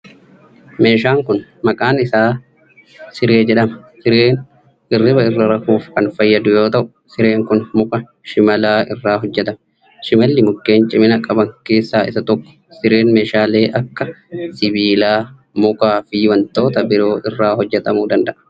Meeshaan kun, maqaan isaa siree jedhama. Sireen hirriiba irra rafuuf kan fayyadu yoo ta'u, sireen kun muka shimalaa irraa hojjatame. Shimalli mukkeen ciman qaban keessaa isa tokko. Sireen meeshaalee akka:sibiila, muka fi wantoota biroo irraa hojjatamuu danda'a.